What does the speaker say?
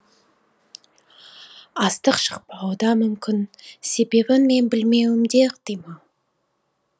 астық шықпауы да мүмкін себебін мен білмеуім де ықтимал